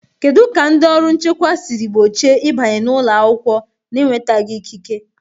Kedu ka ndị ọrụ nchekwa siri gbochie ịbanye n'ụlọ akwụkwọ n'enwetaghị ikike?